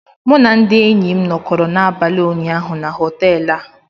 M na ndị enyi m nọkọrọ n'abalị ụnyaahụ na họtel a